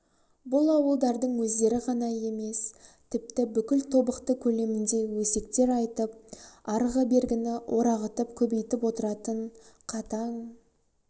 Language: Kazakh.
бұл ауылдардың өздері ғана емес тіпті бүкіл тобықты көлемінде өсектер айтып арғы-бергіні орағытып көбейтіп отыратын қатаң